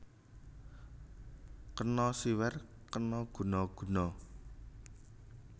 Kena siwer kena guna guna